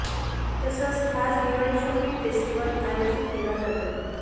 तसंच खास Diwali shopping festival आयोजित केला जातो